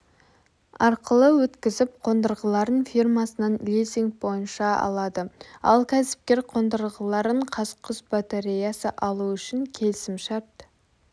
арқылы өткізіп қондырғыларын фирмасынан лизинг бойынша алады ал кәсіпкер қондырғыларын қазқұс-батареясы алу үшін келісім шарт